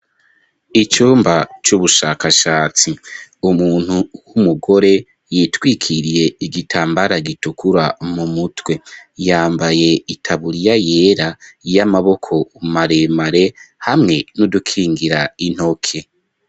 Icumba, c'ubushakashatsi; umuntu w'umugore, yitwikiriye, igitambara gitukura, mu mutwe; yambaye itaburiya yera, y'amaboko maremare, hamwe n'udukingira intoke.